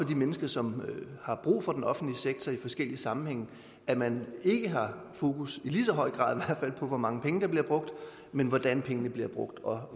de mennesker som har brug for den offentlige sektor i forskellige sammenhænge at man ikke har fokus i lige så høj grad i på hvor mange penge der bliver brugt men hvordan pengene bliver brugt og